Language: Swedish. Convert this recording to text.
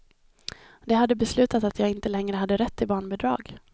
De hade beslutat att jag inte längre hade rätt till barnbidrag.